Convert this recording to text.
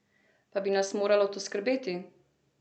Pa bi nas moralo to skrbeti?